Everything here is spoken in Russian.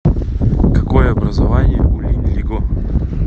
какое образование у линь лиго